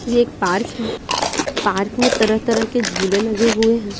ये एक पार्क है पार्क में तरह-तरह के झूले लगे हुए हैं।